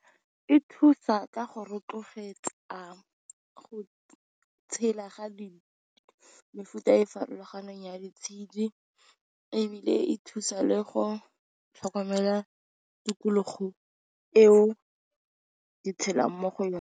E thusa ka go rotloetsa go tshela ga di mefuta e farologaneng ya di tshedi, ebile e thusa le go tlhokomela tikologo eo di tshelang mo go yone.